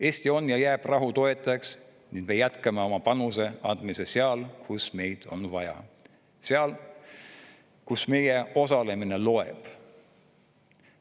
Eesti on ja jääb rahu toetajaks ning me jätkame oma panuse andmist seal, kus meid on vaja, seal, kus meie osalemine loeb.